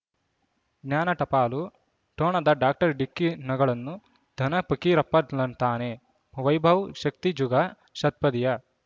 ಜ್ಞಾನ ಟಪಾಲು ಠೊಣದ ಡಾಕ್ಟರ್ ಢಿಕ್ಕಿ ಣಗಳನು ಧನ ಫಕೀರಪ್ಪ ಳಂತಾನೆ ವೈಭವ್ ಶಕ್ತಿ ಝುಗಾ ಷಟ್ಪದಿಯ